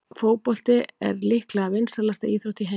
Fótbolti er líklega vinsælasta íþrótt í heimi.